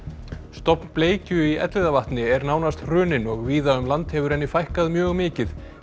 stofn bleikju í Elliðavatni er nánast hruninn og víða um land hefur henni fækkað mjög mikið